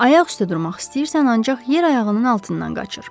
Ayaq üstə durmaq istəyirsən, ancaq yer ayağının altından qaçır.